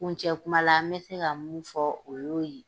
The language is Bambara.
Kuncɛ kuma la n bɛ se ka mun fɔ o y'o ye.